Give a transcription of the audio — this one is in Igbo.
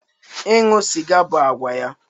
Ịṅụ sịga bụ àgwà ya